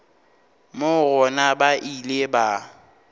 moo gona ba ile ba